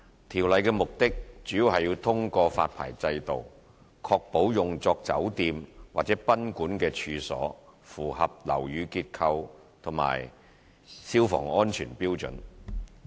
《條例》的目的主要是通過發牌制度確保用作酒店或賓館的處所符合樓宇結構及消防安全標準。